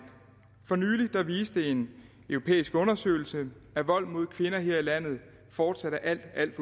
for nylig viste en europæisk undersøgelse at vold mod kvinder her i landet fortsat er alt alt